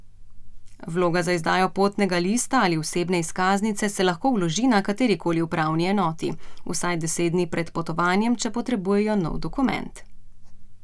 Vloga za izdajo potnega lista ali osebne izkaznice se lahko vloži na katerikoli upravni enoti, vsaj deset dni pred potovanjem, če potrebujejo nov dokument.